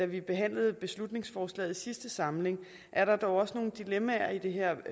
vi behandlede beslutningsforslaget i sidste samling er der dog også nogle dilemmaer i det her